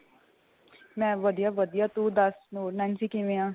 ਮੈਂ ਵਧੀਆ ਵਧੀਆ ਤੂੰ ਦੱਸ ਹੋਰ ਨੈਨਸੀ ਕਿਵੇਂ ਆਂ